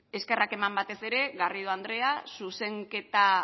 eskerrak eman batez ere garrido andrea zuzenketa